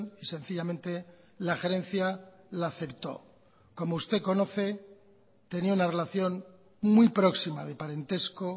y sencillamente la gerencia la aceptó como usted conoce tenía una relación muy próxima de parentesco